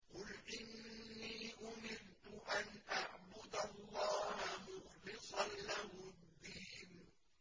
قُلْ إِنِّي أُمِرْتُ أَنْ أَعْبُدَ اللَّهَ مُخْلِصًا لَّهُ الدِّينَ